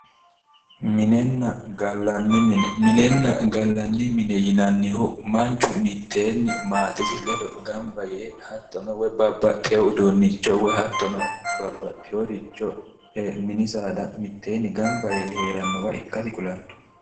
Minenna gallanni mine . Minenna gallanni mine yinannihu manchu mitteenni maatesi ledo mitteenni gamba yee hattono babbaxxewo uduunnicho mini saada mitteenni gamba yee heerannowa ikkasi kulanno